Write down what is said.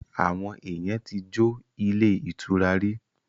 Àwọn èèyàn ti jo ilé ìtura rí